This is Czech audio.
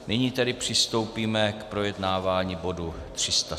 Nyní tedy přistoupíme k projednávání bodu